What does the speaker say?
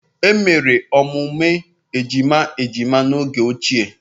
Emere emume ejima ejima n'oge ochie